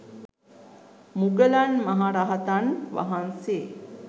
මුගලන් මහ රහතන් වහන්සේ